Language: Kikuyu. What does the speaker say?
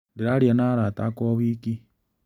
Ndĩraaria na arata akwa o wiki.